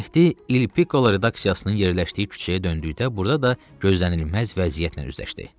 Mehdi il Piko redaksiyasının yerləşdiyi küçəyə döndükdə burda da gözlənilməz vəziyyətlə üzləşdi.